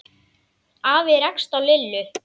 Afi rakst á Lillu.